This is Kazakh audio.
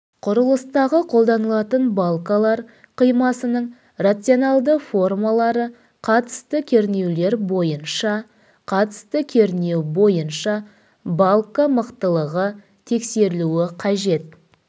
құрылыстағы қолданылатын балкалар қимасының рационалды формалары қатысты кернеулер бойынша қатысты кернеу бойынша балка мықтылығы тексерілуі қажет